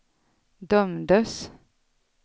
dömdes